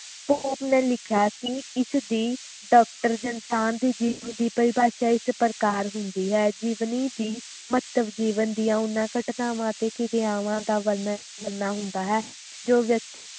ਕੂਵ ਨੇ ਲਿਖਿਆ ਸੀ ਇਸ ਦੀ ਜਾ ਇਨਸਾਨ ਦੇ ਜੀਵਨ ਦੀ ਪਰਿਭਾਸ਼ਾ ਇਸ ਪ੍ਰਕਾਰ ਹੁੰਦੀ ਹੈ ਜੀਵਨੀ ਦੀ ਮਹੱਤਵ ਜੀਵਨ ਦੀ ਓਹਨਾ ਕਿਰਿਆਵਾਂ ਅਤੇ ਗੱਲਾਂ ਦਾ ਵਰਨਣ ਕਰਨਾ ਹੁੰਦਾ ਹੈ ਜੋ ਵਿਅਕਤੀ